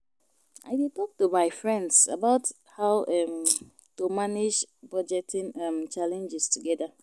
I dey talk to my friends about how um to manage budgeting um challenges together.